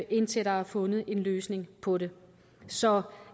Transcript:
indtil der er fundet en løsning på det så